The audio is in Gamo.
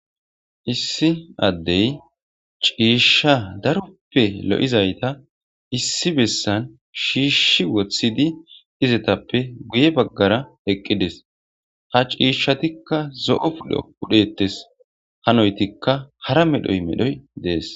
issi addey ciishsha daroppe lo7izayta issi bessan shiishshi woththidi izetappe guye baggara eqqides ha ciishshatikka zo7o pudho pudhetes hanoytikka hara medhoy medhoy dees